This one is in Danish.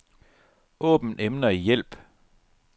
Åbn emner i hjælp.